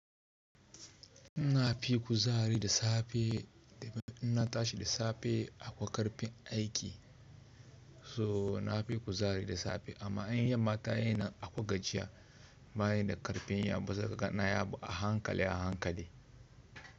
Ina fi kuzari da safe, ina tashi da safe akwai karfin aiki. So nafi ku zari da safe amma in yamma tayinan akwai gajiya. Ba yi da karfin yin abu, sai kana yin abu a hankali a hankali.